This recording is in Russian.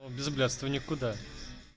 о без блядства никуда